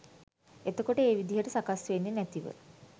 එතකොට ඒ විදිහට සකස් වෙන්නෙ නැතිව